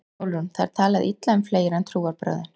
SÓLRÚN: Það er talað illa um fleira en trúarbrögðin.